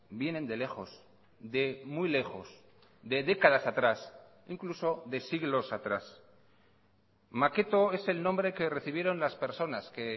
vienen de lejos de muy lejos de décadas atrás incluso de siglos atrás maqueto es el nombre que recibieron las personas que